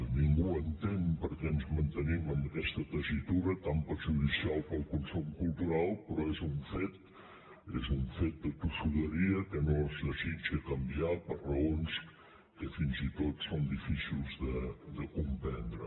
ningú entén per què ens mantenim en aquesta tessitura tan perjudicial per al consum cultural però és un fet de tossuderia que no es desitja canviar per raons que fins i tot són difícils de comprendre